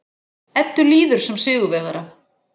Eddu líður sem sigurvegara.